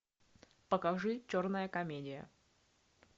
покажи черная комедия